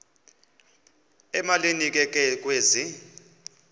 emalini ke kwezi